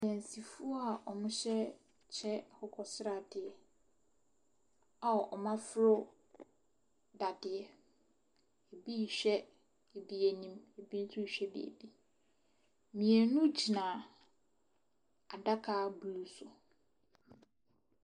Adansifoɔ a wɔhyɛ kyɛ akokɔ sradeɛ a wɔaforo dadeɛ. Ebi rehwɛ ebi anim, ebi nso rehwɛ biribi. Mmienu gyina adaka bi so.